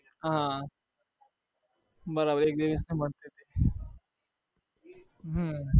હા બરાબર એક દિવસની મળતી હતી હમ